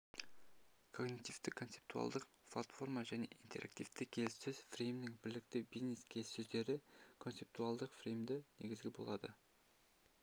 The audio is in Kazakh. когнитивтік-концептуалдық платформа және интерактивті келіссөз фреймінің бірліктері бизнес-келіссөздерді концептуалдық фреймдеудің негізі болып лады